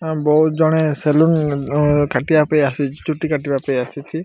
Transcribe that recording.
ବହୁତ ଜଣେ ସେଲୁନ କାଟିବାପାଇଁ ଆସିଚି ଚୁଟି କାଟିବାପାଇଁ ଆସିଛି।